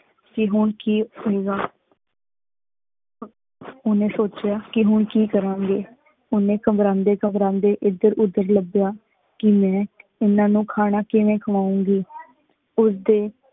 ਕੀ ਹੁਣ ਕੀ ਹੋਏਗਾ ਓਹਨੇ ਸੋਚੇਯਾ ਕੀ ਹੁਣ ਕੀ ਕਰਾਂਗੇ, ਓਹਨੇ ਘਬਰਾਂਦੇ ਘਬਰਾਂਦੇ ਏਧਰ ਉਧਰ ਲੱਭਿਆ ਕਿ ਮੈਂ ਇਹਨਾਂ ਨੂੰ ਖਾਣਾ ਕਿੰਵੇ ਖ਼ਵਾਉਂਗੀ, ਉਸਦੇ